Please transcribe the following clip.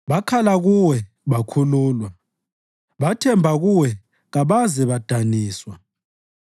Bakhala kuwe bakhululwa; bathemba kuwe kabaze badaniswa.